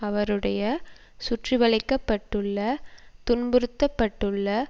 அவருடைய சுற்றி வழைக்கப்பட்டுள்ள துன்புறுத்தப்பட்டுள்ள